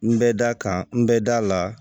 N bɛ da kan n bɛ da la